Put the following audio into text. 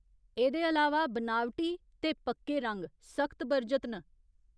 एह्दे अलावा, बनावटी ते पक्के रंग सख्त बरजत न !